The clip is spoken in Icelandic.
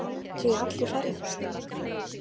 Heimir: Fimmtíu í allri ferðinni?